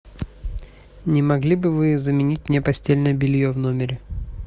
не могли бы вы заменить мне постельное белье в номере